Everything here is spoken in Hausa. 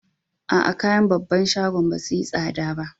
Aa, kayan babban shagon ba su yi sada ba.